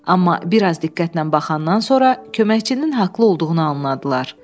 Amma biraz diqqətlə baxandan sonra köməkçinin haqlı olduğunu anladılar.